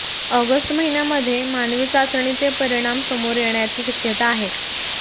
August महिन्यामध्ये मानवी चाचणीचे परिणाम समोर येण्याची शक्यता आहे